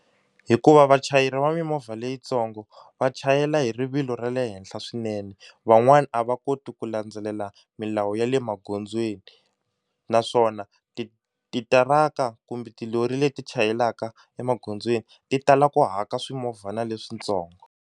Hikuva vachayeri va mimovha leyitsongo va chayela hi rivilo ra le henhla swinene, van'wani a va koti ku landzelela milawu ya le magondzweni naswona ti titiraka kumbe tilori leti chayelaka emagondzweni ti tala ku haka swimovhana leswitsongo.